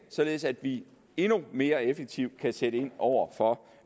således at vi endnu mere effektivt kan sætte ind over for